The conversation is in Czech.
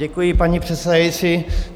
Děkuji, paní předsedající.